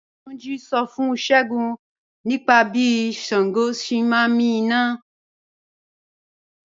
Túnjí́ ń ṣọ́ fún Ṣẹ́gúǹ nípa bí Ṣàngó sẹ̀ ǹ mí iná